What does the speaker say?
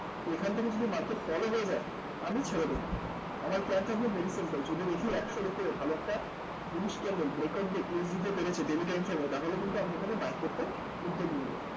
এখান থেকে যদি market fall ও হয়ে যায় আমি ছেড়ে দেব আমার plan থাকবে very simple যদি দেখি একশোর উপরে ভালো একটা very standard breakout দিতে পেরেছে daily time frame এ তাহলে কিন্তু আমি এখানে buying করতে উদ্যোগ নেব